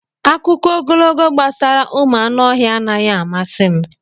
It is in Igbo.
Akụkọ ogologo gbasara ụmụ anụ ọhịa anaghị amasị m.